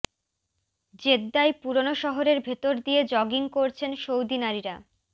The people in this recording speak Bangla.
জেদ্দায় পুরনো শহরের ভেতর দিয়ে জগিং করছেন সৌদি নারীরা